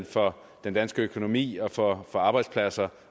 for den danske økonomi og for arbejdspladser